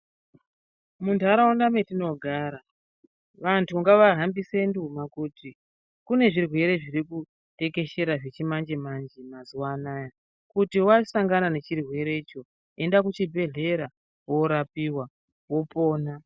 Muntaraunda metinogara, vantu ngavahambise nduma kuti, kune zvirwere zviri kutekeshera zvechimanje-manje mazuwa anaya. Kuti wasangana nechirwerecho, enda kuchibhedhleya, woorapiwa, wopona.